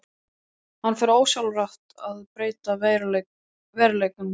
Hann fer þá ósjálfrátt að breyta veruleikanum aftur.